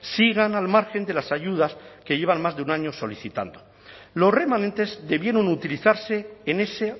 sigan al margen de las ayudas que llevan más de un año solicitando los remanentes debieron utilizarse en ese